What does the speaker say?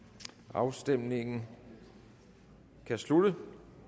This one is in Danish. afstemningen slutter